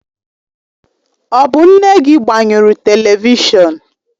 Ọ bụ nne gị gbanyụrụ televishọn?